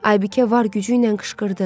Aybikə var gücü ilə qışqırdı.